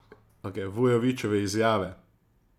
Vujovićeve izjave?